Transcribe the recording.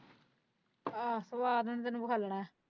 ਆ ਸਵਾਦ ਹੁਣ ਤੈਨੂੰ ।